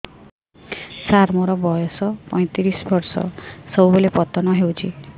ସାର ମୋର ବୟସ ପୈତିରିଶ ବର୍ଷ ସବୁବେଳେ ପତନ ହେଉଛି